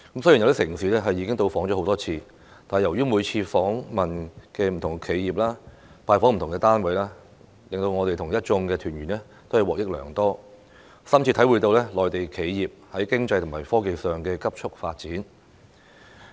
雖然有些城市我們已多次到訪，但由於每次均訪問不同企業、拜訪不同單位，我和一眾團員均獲益良多，深切體會內地企業在經濟和科技上的急速發展。